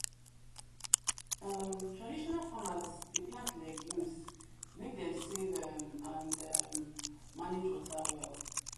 um traditional farmers dey plant legumes make them save um and um manage water well